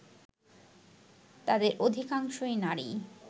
যাদের অধিকাংশই নারী